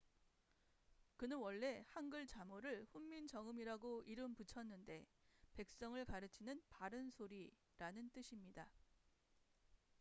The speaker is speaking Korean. "그는 원래 한글 자모를 훈민정음이라고 이름 붙였는데 "백성을 가르치는 바른 소리""라는 뜻입니다.